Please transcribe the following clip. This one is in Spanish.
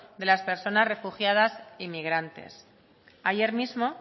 de las personas refugiadas y migrantes ayer mismo